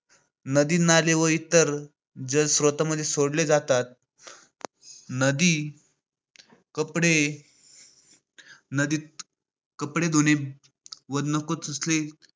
नदी, नाले व इतर जलस्त्रोतांमध्ये सोडले जातात. नदी नदी कपडे नदीत कपडे धुणे व नको असलेले